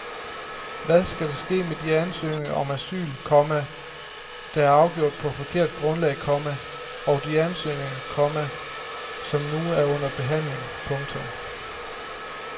Hvad skal der ske med de ansøgninger om asyl, komma der er afgjort på forkert grundlag, komma og de ansøgninger, komma som nu er under behandling. punktum